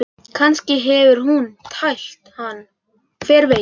Kannski hefur hún tælt hann, hver veit?